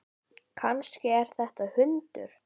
Kannski er þetta hundur?